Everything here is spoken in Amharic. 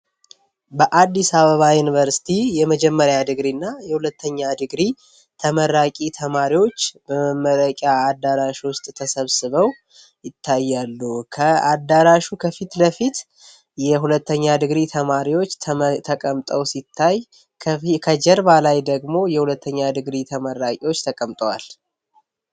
በአዲስ አበባ ዩኒቨርሲቲ የመጀመሪያ ዲግሪ እና የሁለተኛ ዲግሪ ተመራቂ ተማሪዎች መመረቂያ አዳራሾች ተሰብስበው ይታያሉ ከአዳራሹ ከፊት ለፊት የሁለተኛ ዲግሪ ተማሪዎች ተቀምጠው ሲታይ ከጀርባ ላይ ደግሞ የሁለተኛ ዲግሪ የተመራቂዎች ተቀምጠዋል